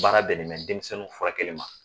Baara bɛnnen bɛ denmisɛnninw furakɛkelen ma.